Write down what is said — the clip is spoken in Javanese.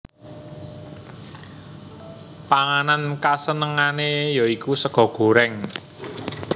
Panganan kasenengane ya iku sega goreng